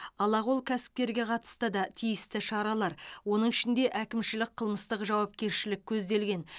алақол кәсіпкерге қатысты да тиісті шаралар оның ішінде әкімшілік қылмыстық жауапкершілік көзделген